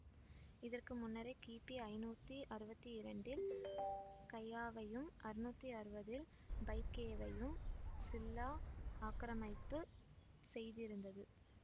இதறகு முன்னரே கிபி ஐநூத்தி அறுவத்தி இரண்டில் கையாவையும் அறநூத்தி அறுவதில் பைக்யேவையும் சில்லா ஆக்கிரமிப்பு செய்திருந்தது